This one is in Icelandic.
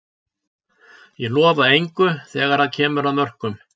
Ég lofa engu þegar að kemur að mörkum.